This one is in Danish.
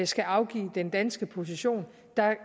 skal afgive den danske position